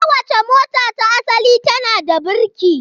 Kowace mota ta asali tana da birki.